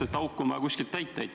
... sest auk on vaja kuidagi täita.